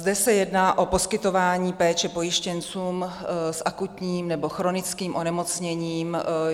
Zde se jedná o poskytování péče pojištěncům s akutním nebo chronickým onemocněním.